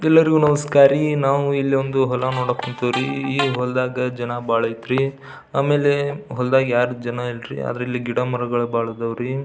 ಎಲ್ಲರಿಗೂ ನಮಸ್ಕಾರ ರೀ ನಾವು ಇಲ್ಲಿ ಒಂದು ಹೊಲ ನೋಡೋಕ್ ಹೊಂತೀವ್ರಿ ಈ ಹೊಲದಾಗ ಬಹಳ ಜನ ಅಯ್ತ್ರಿ ಆಮೇಲೆ ಹೊಲ್ದಗೆ ಯಾರು ಜನ ಇಲ್ರಿ ಆದ್ರೆ ಇಲ್ಲಿ ಗಿಡ ಮರಗಳು ಬಹಳ ಅದಾವ್ ರೀ.